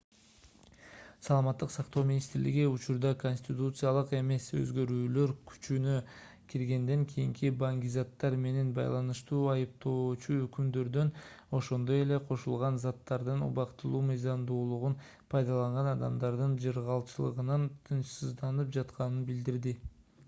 саламаттык сактоо министри учурда конституциялык эмес өзгөрүүлөр күчүнө киргенден кийинки баңгизаттар менен байланыштуу айыптоочу өкүмдөрдөн ошондой эле кошулган заттардын убактылуу мыйзамдуулугун пайдаланган адамдардын жыргалчылыгынан тынчсызданып жатканын билдирди